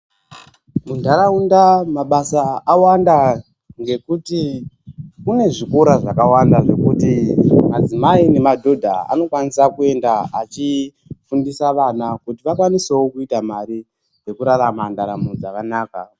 Mundaraunda mabasa awanda ngekuti kune zvikora zvakawanda ,nekuti madzimai nemadhodha anokwanisa kuenda achifundisa vana kuti vakwanisevo kuita mari, yekurarama ndaramo dzakanaka.